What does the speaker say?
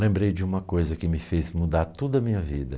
Lembrei de uma coisa que me fez mudar toda a minha vida.